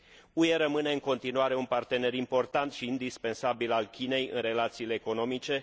UE rămâne, în continuare, un partener important și indispensabil al Chinei în relațiile economice.